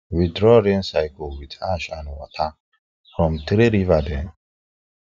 we draw rain circle with ash and water from three river dem